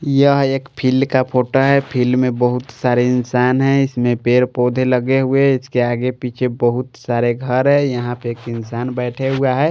यह एक फील्ड का फोटो है फील्ड में बहुत सारे इंसान हैं इसमें पेड़-पौधे लगे हुए हैं इसके आगे पीछे बहुत सारे घर है यहां पे एक इंसान बैठा हुआ है।